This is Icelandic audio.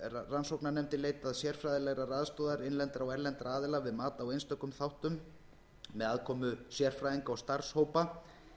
rannsóknarnefndin leitað sérfræðilegrar aðstoðar innlendra og erlendra aðila við mat á einstökum þáttum með aðkomu sérfræðinga og starfshópa